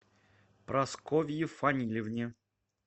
прасковье фанилевне